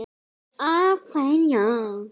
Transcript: Af hverju ég?